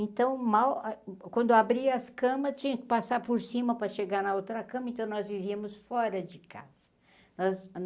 Então mal, ah quando abrir as camas, tinha que passar por cima para chegar na outra cama, então nós vivíamos fora de casa.